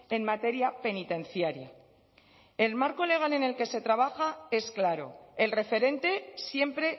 en materia penitenciaria el marco legal en el que se trabaja es claro el referente siempre